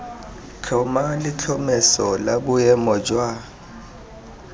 tlhoma letlhomeso la boemo jwa